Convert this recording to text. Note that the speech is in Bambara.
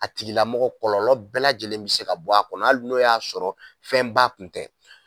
A tigilamɔgɔ kɔlɔlɔ bɛɛ lajɛlen be se ka bɔ a kɔnɔ ali n'o y'a sɔrɔ fɛnba kun tɛ